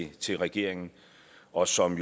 til regeringen og som